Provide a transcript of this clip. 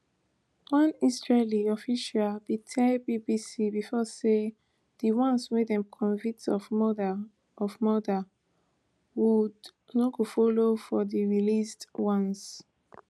one israeli official bin tell bbc before say di ones wey dem convict of murder of murder would no go follow for di released ones